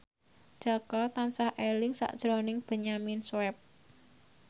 Jaka tansah eling sakjroning Benyamin Sueb